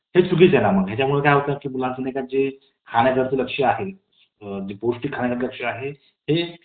त्याचबोरोबर, आपण आपल्या देशामध्ये मुक्त संचार करू शकतो. कोणत्याही भागात जाऊ शकतो. परंतु सर्वोच्च न्यायालयाने वेश्या आणि जे aids झालेले रुग्ण असतात. त्यांच्या संचारावर बंदी घातलेली,